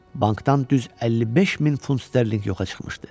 Bankdan düz 55 min funt sterling yoxa çıxmışdı.